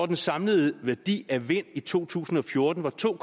den samlede værdi af vind i to tusind og fjorten var to